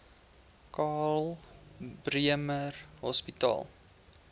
karl bremer hospitaal